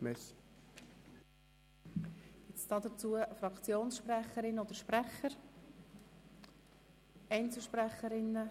Gibt es hierzu Fraktionssprecherinnen oder Fraktionssprecher?